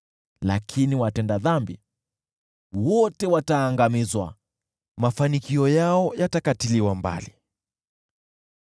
Lakini watenda dhambi wote wataangamizwa, mafanikio yao yatakatiliwa mbali.